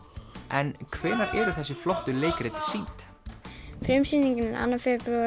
en hvenær eru þessi flottu leikrit sýnd frumsýningin er annað